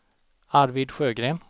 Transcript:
Arvid Sjögren